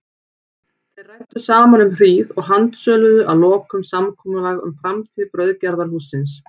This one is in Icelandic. Þeir ræddu saman um hríð og handsöluðu að lokum samkomulag um framtíð brauðgerðarhússins.